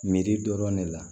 Miiri dɔrɔn ne la